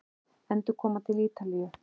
Endurkoma til Ítalíu?